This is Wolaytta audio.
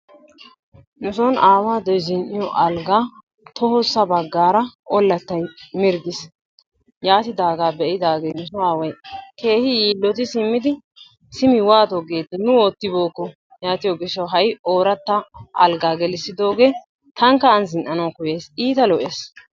Nuson aawaydoy zin'iyo algaa tohossa bagaara ollattay mirggiis. Yaatidaa be'idaagaagee nu so aaway keehi yilotti simidi simi waato geeti nu oottibookko yattiyo gishshawu hay ooratta alggaa gelissidoogee tankka an zin'anawu koyayis, iita lo'ees.